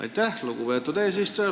Aitäh, lugupeetud eesistuja!